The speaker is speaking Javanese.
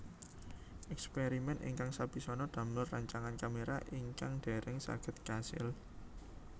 Èkspèrimèn ingkang sepisanan damel rancangan kaméra ingkang dèrèng saged kasil